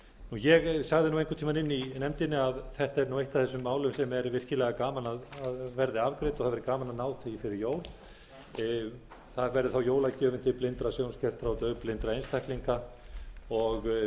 ég sagði einhvern tíma inni í nefndinni að þetta er eitt af þessum málum sem er virkilega gaman að verði afgreidd og það væri gaman að ná því fyrir jól það verður þá jólagjöfin til blindra sjónskertra og daufblindra einstaklinga og